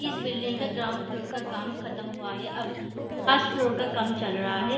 इस बिल्डिंग का ground floor का काम खत्म हुआ है अब फस्ट फ्लोर का काम चल रहा है।